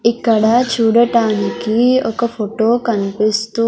ఇక్కడ చూడటానికి ఒక ఫొటో కన్పిస్తూ--